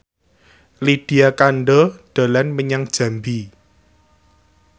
Lydia Kandou dolan menyang Jambi